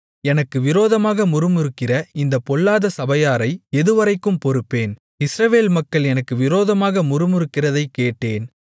எனக்கு விரோதமாக முறுமுறுக்கிற இந்தப் பொல்லாத சபையாரை எதுவரைக்கும் பொறுப்பேன் இஸ்ரவேல் மக்கள் எனக்கு விரோதமாக முறுமுறுக்கிறதைக் கேட்டேன்